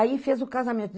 Aí fez o casamento.